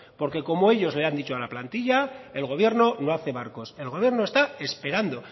como ellos le han dicho a la plantilla el gobierno no hace barcos el gobierno está esperando